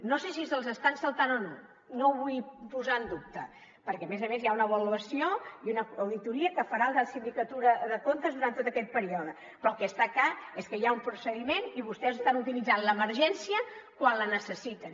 no sé si se’ls estan saltant o no no ho vull posar en dubte perquè a més a més hi ha una avaluació i una auditoria que farà la sindicatura de comptes durant tot aquest període però el que està clar és que hi ha un procediment i vostès estan utilitzant l’emergència quan la necessiten